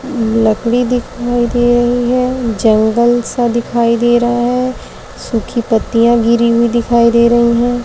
लकड़ी दिखाई दे रही है। जंगल सा दिखाई दे रहा है। सुखी पत्तियाँ गिरी हुई दिखाई दे रही हैं।